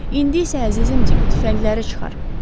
İndi isə əzizim Dick, tüfəngləri çıxar.